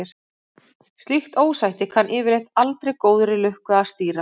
Slíkt ósætti kann yfirleitt aldrei góðri lukka að stýra.